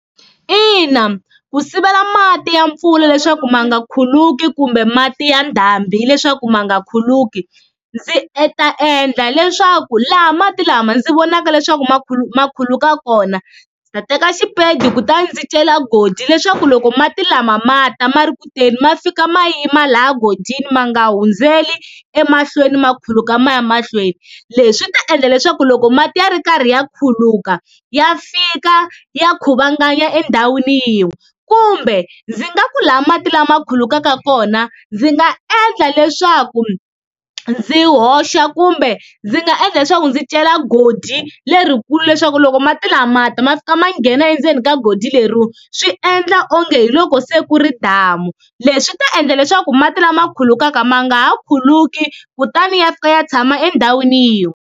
Ina ku sivela mati ya mpfula leswaku ma nga khuluki kumbe mati ya ndhambi leswaku ma nga khuluki, ndzi e ta endla leswaku laha mati lama ndzi vonaka leswaku ma khuluka kona ndzi ta teka xipedi kutani ndzi cela goji leswaku loko mati lama ma ta ma ri ku teni ma fika ma yima laha gojini ma nga hundzeli emahlweni ma khuluka ma ya mahlweni, leswi ta endla leswaku loko mati ya ri karhi ya khuluka ya fika ya khuvanganya endhawini yin'we, kumbe ndzi nga ku laha mati lama khulukaka kona ndzi nga endla leswaku ndzi hoxa kumbe ndzi nga endla leswaku ndzi cela goji lerikulu leswaku loko mati lama ma ta ma fika ma nghena endzeni ka goji leriwa, swi endla onge hi loko se ku ri damu leswi ta endla leswaku mati lama khulukaka ma nga ha khuluki kutani ya fika ya tshama endhawini yin'we.